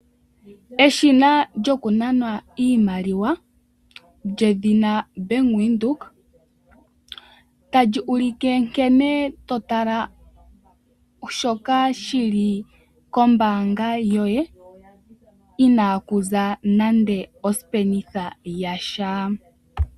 Eshina lyokunana iimaliwa lyedhina bank Windhoek otali ulike nkene totala shoka shili kombanga yoye Inaku za nando osenda yasha.